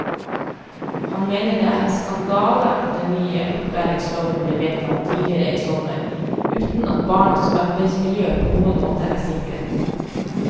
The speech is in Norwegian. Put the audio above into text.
Han mener det er en skandale at den nye opplæringsloven ble vedtatt tidligere i sommer uten at barnas arbeidsmiljø på noen måte er sikret.